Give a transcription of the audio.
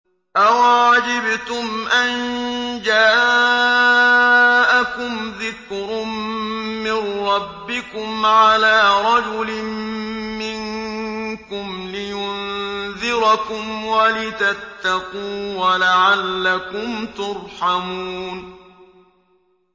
أَوَعَجِبْتُمْ أَن جَاءَكُمْ ذِكْرٌ مِّن رَّبِّكُمْ عَلَىٰ رَجُلٍ مِّنكُمْ لِيُنذِرَكُمْ وَلِتَتَّقُوا وَلَعَلَّكُمْ تُرْحَمُونَ